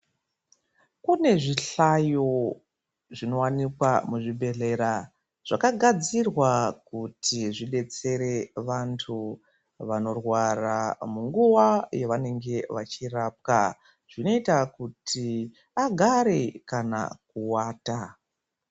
Kune zvihlayo zvinowanikwa muzvibhedhlera zvakagadzirwa kuti zvidetsre vantu vanorwara munguva yavanenge vachirapwa zvinoita kuti vagare kana kuwata.